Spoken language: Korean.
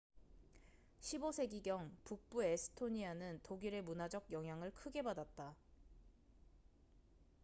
15세기경 북부 에스토니아는 독일의 문화적 영향을 크게 받았다